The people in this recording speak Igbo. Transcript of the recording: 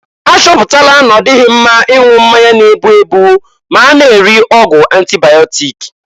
A chọpụtala na-ọdịghị mma ịṅụ mmanya n-egbu egbu ma a na-eri ọgwụ antịbaịọtik.